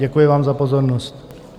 Děkuji vám za pozornost.